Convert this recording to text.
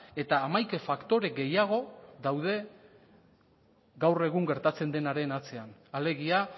eta hamaika faktore gehiago daude gaur egun gertatzen denaren atzean alegia